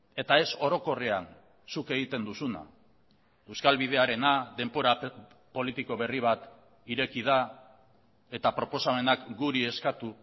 eta ez orokorrean zuk egiten duzuna euskal bidearena denbora politiko berri bat ireki da eta proposamenak guri eskatu